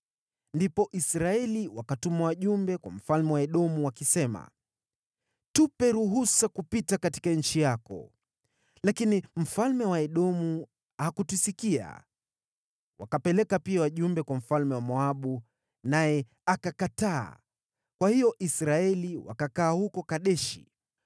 Ndipo Israeli wakatuma wajumbe kwa mfalme wa Edomu, wakisema, ‘Tupe ruhusa kupita katika nchi yako,’ Lakini mfalme wa Edomu hakutusikia. Wakapeleka pia wajumbe kwa mfalme wa Moabu, naye akakataa. Kwa hiyo Israeli wakakaa huko Kadeshi.